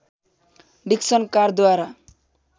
Dixon कारद्वारा